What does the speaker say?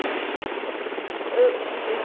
Eu fiz a rubrica, aí ele, epa, o que que é isso?